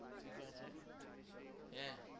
ঠিক আছে হ্যাঁ